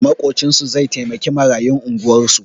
Maƙocinsu zai taimaki marayun unguwarsu